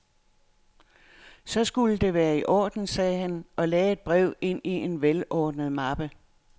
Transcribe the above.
Så skulle det være i orden, sagde han og lagde et brev ind i en velordnet mappe.